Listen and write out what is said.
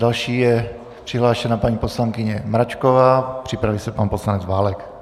Další je přihlášena paní poslankyně Mračková, připraví se pan poslanec Válek.